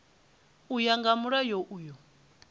u ya nga mulayo uyu